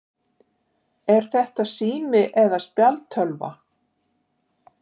Er þetta sími eða spjaldtölva?